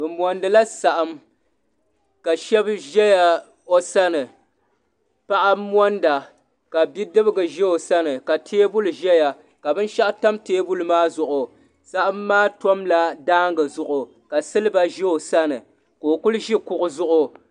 bɛ monidila saɣim ka shɛbi ʒɛya o sani paɣ' monida ka be dɛbiga ʒɛ so sani ka tɛbuli ʒɛya ka benshɛgu tam tɛbuli maa zuɣ' saɣim maa tumla daagi zuɣ' ka siliba ʒɛ o sani ka o kuli ʒɛ kuɣ' zuɣigu